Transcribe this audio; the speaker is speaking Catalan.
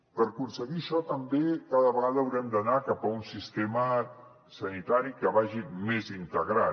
per aconseguir això també cada vegada haurem d’anar cap a un sistema sanitari que vagi més integrat